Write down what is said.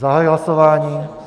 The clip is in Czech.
Zahajuji hlasování.